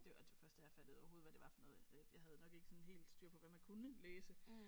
Det var det var først der jeg fattede overhovedet hvad det var for noget øh jeg havde nok ikke sådan helt styr på hvad man kunne læse